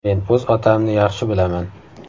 Men o‘z otamni yaxshi bilaman.